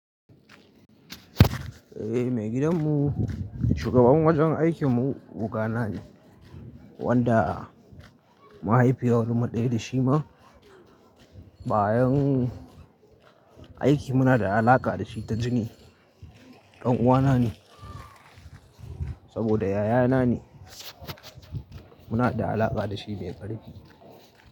Eh, maigidan mu shugaban wajen aikin mu, oga na ne wanda mahaifiyar mu ɗaya da shi ma. Ba yan aiki muna da alaƙa dashi ta jini. Danuwa na ne saboda yaya na ne. Muna da alaƙa da shi mai ƙarfi.